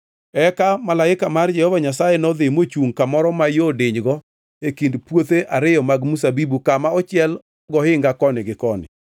Eka malaika mar Jehova Nyasaye nodhi mochungʼ kamoro ma yo dinygo e kind puothe ariyo mag mzabibu kama ochiel gohinga koni gi koni.